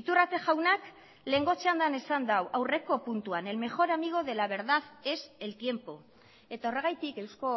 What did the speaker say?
iturrate jaunak lehengo txandan esan du aurreko puntuan el mejor amigo de la verdad es el tiempo eta horregatik euzko